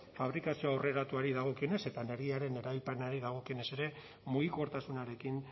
fabrikazio aurreratuari dagokionez eta energiaren erabilpenari dagokionez ere mugikortasunarekin